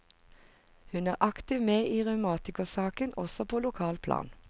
Hun er aktivt med i revmatikersaken også på lokalt plan.